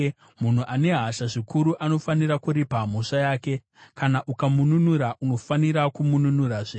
Munhu ane hasha zvikuru anofanira kuripa mhosva yake; kana ukamununura, unofanira kuzomununurazve.